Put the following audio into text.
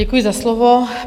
Děkuji za slovo.